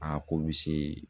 Aa ko bi see.